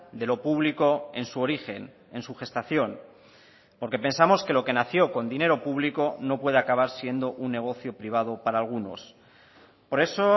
de lo público en su origen en su gestación porque pensamos que lo que nació con dinero público no puede acabar siendo un negocio privado para algunos por eso